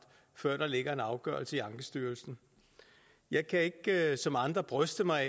før der ligger en afgørelse i ankestyrelsen jeg kan ikke som andre bryste mig